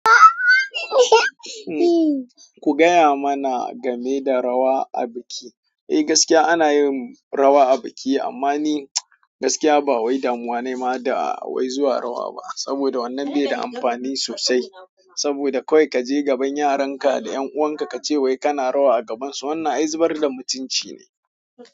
Ku gaya mana game da rawa a biki. Eh gaskiya ana yin rawa a biki amma ni gaskiya ba wai damuwa nayi ma da wai zuwa rawa ba saboda wnanan beda amfani sosai saboda kawai kaje gaban yaranka da ƴan uwan ka kace wai kana rawa a gaban su wannan ai zubar da mutuncine.